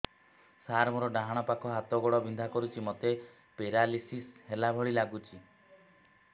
ସାର ମୋର ଡାହାଣ ପାଖ ହାତ ଗୋଡ଼ ବିନ୍ଧା କରୁଛି ମୋତେ ପେରାଲିଶିଶ ହେଲା ଭଳି ଲାଗୁଛି